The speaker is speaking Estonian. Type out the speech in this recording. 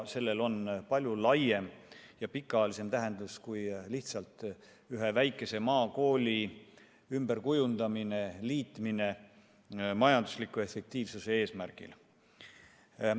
Sellel on palju laiem ja pikaajalisem tähendus kui lihtsalt ühe väikese maakooli ümberkujundamine, liitmine majandusliku efektiivsuse eesmärgil.